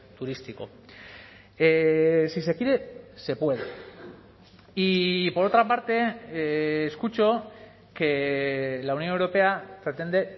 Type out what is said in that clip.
turístico si se quiere se puede y por otra parte escucho que la unión europea pretende